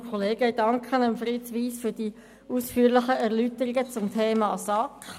Ich danke Fritz Wyss für die ausführlichen Erläuterungen zum Thema SAK.